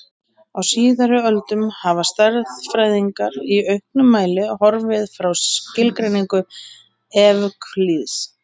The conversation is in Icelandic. Á síðari öldum hafa stærðfræðingar í auknum mæli horfið frá skilgreiningu Evklíðs.